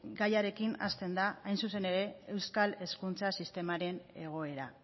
gaiarekin hasten da hain zuzen ere euskal hezkuntza sistemaren egoera